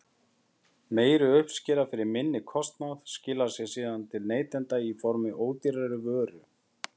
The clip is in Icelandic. Meiri uppskera fyrir minni kostnað skilar sér síðan til neytenda í formi ódýrari vöru.